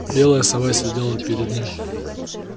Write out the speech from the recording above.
белая сова сидела перед ним